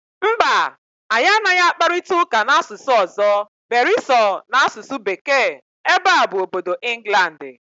Mba, anyị anaghị akparịta ụka n'asụsụ ọzọ beere so n'asụsụ Bekee, ebe a bụ obodo Ịnglandị